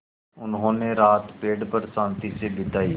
उन्होंने रात पेड़ पर शान्ति से बिताई